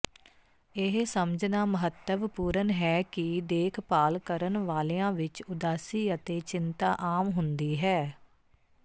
ਇਹ ਸਮਝਣਾ ਮਹੱਤਵਪੂਰਣ ਹੈ ਕਿ ਦੇਖਭਾਲ ਕਰਨ ਵਾਲਿਆਂ ਵਿੱਚ ਉਦਾਸੀ ਅਤੇ ਚਿੰਤਾ ਆਮ ਹੁੰਦੀ ਹੈ